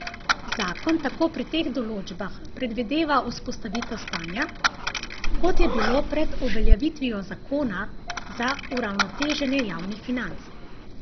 Zakon tako pri teh določbah predvidevava vzpostavitev stanja, kot je bilo pred uveljavitvijo zakona za uravnoteženje javnih financ.